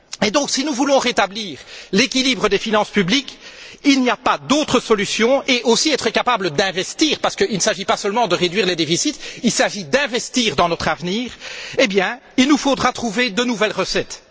Et donc, si nous voulons rétablir l'équilibre des finances publiques il n'y a pas d'autre solution et être également capables d'investir parce qu'il ne s'agit pas seulement de réduire les déficits, il s'agit d'investir dans notre avenir il nous faudra trouver de nouvelles recettes.